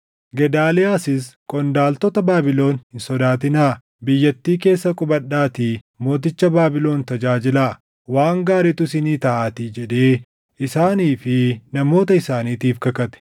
Gedaaliyaasis, “Qondaaltota Baabilon hin sodaatinaa; biyyattii keessa qubadhaatii mooticha Baabilon tajaajilaa; waan gaariitu isinii taʼaatii” jedhee isaanii fi namoota isaaniitiif kakate.